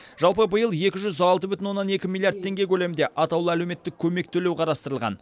жалпы биыл екі жүз алты бүтін оннан екі миллиард теңге көлемінде атаулы әлеуметтік көмек төлеу қарастырылған